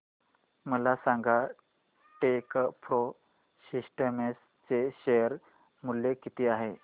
मला सांगा Techpro systems चे शेअर मूल्य किती आहे